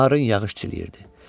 Narın yağış çiləyirdi.